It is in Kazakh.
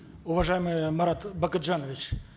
уважаемый марат бакытжанович